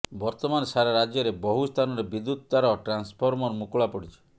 ବର୍ତ୍ତମାନ ସାରା ରାଜ୍ୟରେ ବହୁ ସ୍ଥାନରେ ବିଦ୍ୟୁତ ତାର ଟ୍ରାନସଫର୍ମର ମୁକୁଳା ପଡ଼ିଛି